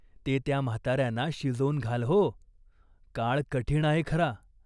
ते त्या म्हाताऱ्याना शिजवून घाल हो. काळ कठीण आहे खरा.